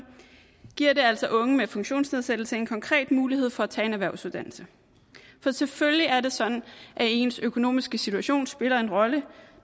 giver det altså unge med funktionsnedsættelse en konkret mulighed for at tage en erhvervsuddannelse for selvfølgelig er det sådan at ens økonomiske situation spiller en rolle